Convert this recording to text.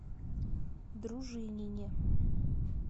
дружинине